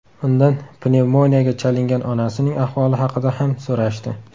Undan pnevmoniyaga chalingan onasining ahvoli haqida ham so‘rashdi.